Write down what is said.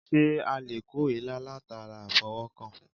Sé a lè kó èélá latara àfọwó̩kàn?